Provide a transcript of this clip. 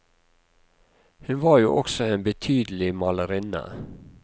Hun var jo også en betydelig malerinne.